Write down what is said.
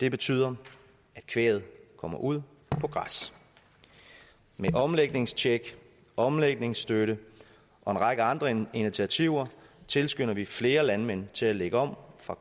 det betyder at kvæget kommer ud på græs med omlægningstjek og omlægningsstøtte og en række andre initiativer tilskynder vi flere landmænd til at lægge om fra